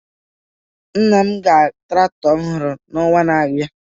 Nna m ga traktọ ọhụrụ n'ọnwa na-abịa